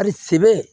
A sebe